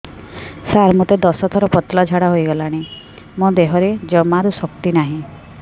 ସାର ମୋତେ ଦଶ ଥର ପତଳା ଝାଡା ହେଇଗଲାଣି ମୋ ଦେହରେ ଜମାରୁ ଶକ୍ତି ନାହିଁ